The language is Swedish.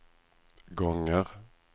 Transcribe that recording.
gånger